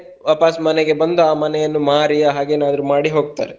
ವಾಪಸ್ ಮನೆಗೆ ಬಂದು ಆ ಮನೆಯನ್ನು ಮಾರಿಯ ಹಾಗೆ ಏನಾದ್ರೂ ಮಾಡಿ ಹೋಗ್ತಾರೆ.